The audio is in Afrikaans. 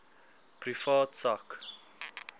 privaat sak